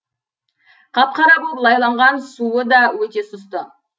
қап қара боп лайланған суы да өте сұсты